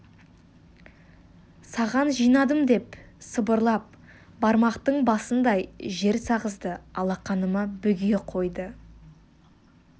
саған жинадым деп сыбырлап бармақтың басындай жер сағызды алақаныма бүге қойды